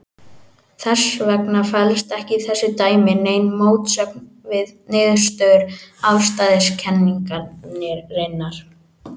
Þess vegna felst ekki í þessu dæmi nein mótsögn við niðurstöður afstæðiskenningarinnar.